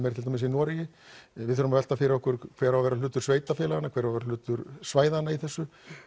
er til dæmis í Noregi við þurfum að velta fyrir okkur hver á að vera hlutur sveitarfélaganna hver á að vera hlutur svæðanna í þessu